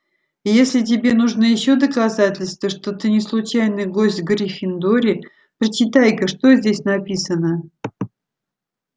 и если тебе нужны ещё доказательства что ты не случайный гость в гриффиндоре прочитай-ка что здесь написано